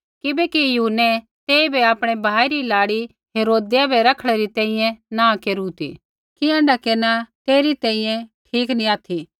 किबैकि यूहन्नै तेइबै आपणै भाई री लाड़ी हेरोदेसै रखणै री तैंईंयैं नाँह केरू ती कि ऐण्ढा केरना तेरी तैंईंयैं ठीक नी ऑथि